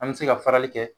An bɛ se ka farali kɛ